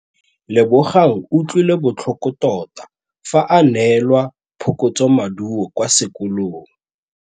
Lebogang o utlwile botlhoko tota fa a neelwa phokotsômaduô kwa sekolong.